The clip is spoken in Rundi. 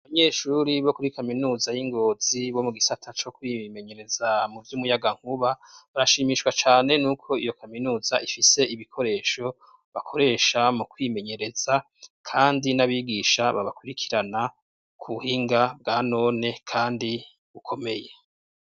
Abanyeshure bo kuri kaminuza y'Ingozi bo mu gisata co kwimenyereza muvy'umuyagankuba, barashimishwa cane nuko iyo kaminuza ifise ibikoresho bakoresha mu kwimenyereza kandi n'abigisha babakurikirana ku buhinga bwa none kandi bukomeye.